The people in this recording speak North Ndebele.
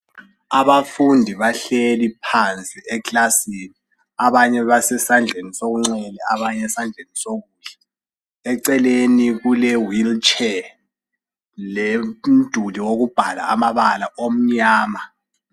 Abafundi bahleli phansi eklasini. Abanye basesandleni sokunxele abanye esandleni sokudla. Eceleni kule wheel chair lomduli wokubhala amabala omnyama.